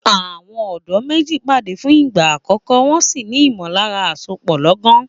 Àwọn ọ̀dọ́ méjì pàdé fún ìgbà àkọ́kọ́, wọn sì ní ìmọ̀lára àsopọ̀ lọ́gán.